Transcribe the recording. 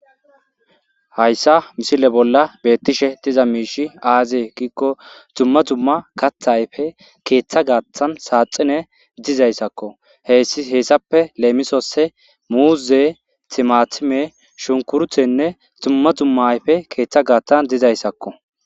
Hayisa misile bollan betishe diza mishezi ayibe giiko duma duma katha ayipe ketha gathan saxine dizaysako hesape lemisos muze timatime shukurutenne duma duma ayipey ketha gathan dizayisako